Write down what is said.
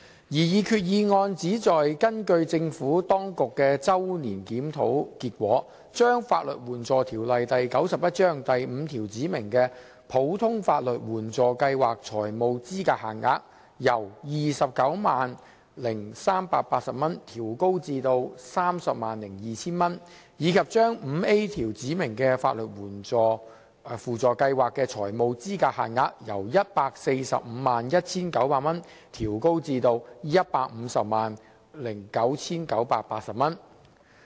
擬議決議案旨在根據政府當局的周年檢討結果，將《法律援助條例》第5條指明的普通法律援助計劃財務資格限額，由 290,380 元調高至 302,000 元，以及將第 5A 條指明的法律援助輔助計劃財務資格限額，由 1,451,900 元調高至 1,509,980 元。